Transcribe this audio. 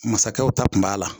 Mansakɛw ta kun b'a la